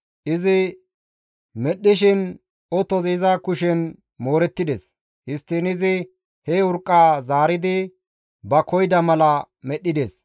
Izi medhdhishin otozi iza kushen moorettides; histtiin izi he urqqaa zaaridi ba koyida mala medhdhides.